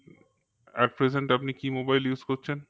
At present আপনি কি mobile use করছেন?